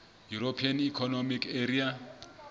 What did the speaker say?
european economic area